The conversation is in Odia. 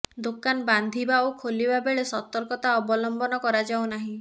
ଦୋକାନ ବାନ୍ଧିବା ଓ ଖୋଲିବା ବେଳେ ସତର୍କତା ଅବଲମ୍ବନ କରାଯାଉନାହିଁ